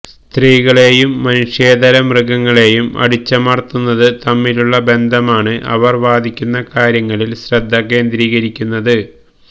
സ്ത്രീകളെയും മനുഷ്യേതര മൃഗങ്ങളെയും അടിച്ചമർത്തുന്നത് തമ്മിലുള്ള ബന്ധമാണ് അവർ വാദിക്കുന്ന കാര്യങ്ങളിൽ ശ്രദ്ധ കേന്ദ്രീകരിക്കുന്നത്